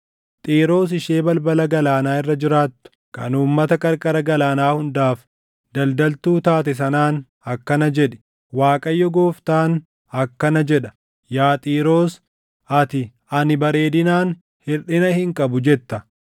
Xiiroos ishee balbala galaanaa irra jiraattu, kan uummata qarqara galaanaa hundaaf daldaltuu taate sanaan akkana jedhi; ‘ Waaqayyo Gooftaan akkana jedha: “ ‘Yaa Xiiroos, ati, “Ani bareedinaan hirʼina hin qabu” jetta.